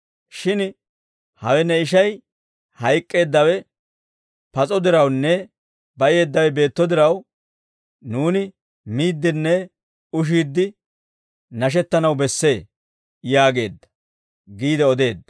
Shin hawe ne ishay, hayk'k'eeddawe pas'o dirawunne bayeeddawe beetto diraw, nuuni miiddinne ushiidde nashettanaw bessee› yaageedda» giide odeedda.